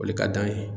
O le ka d'an ye